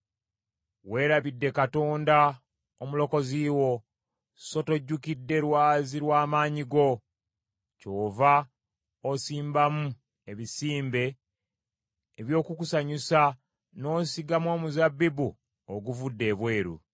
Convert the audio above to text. Weerabidde Katonda Omulokozi wo, so tojjukidde Lwazi lwa maanyi go; kyova osimbamu ebisimbe eby’okukusanyusa n’osigamu omuzabbibu oguvudde ebweru.